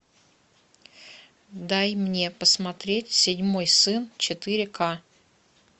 дай мне посмотреть седьмой сын четыре ка